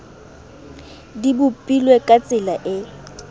di bopilwe ka tsela e